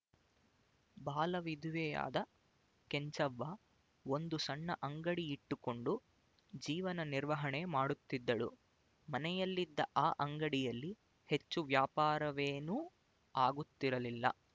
ಬಾಲವಿಧವೆಯಾದ ಕೆಂಚವ್ವ ಒಂದು ಸಣ್ಣ ಅಂಗಡಿಯಿಟ್ಟುಕೊಂಡು ಜೀವನ ನಿರ್ವಹಣೆ ಮಾಡುತ್ತಿದ್ದಳು ಮನೆಯಲ್ಲಿದ್ದ ಆ ಅಂಗಡಿಯಲ್ಲಿ ಹೆಚ್ಚು ವ್ಯಾಪಾರವೇನೂ ಆಗುತ್ತಿರಲಿಲ್ಲ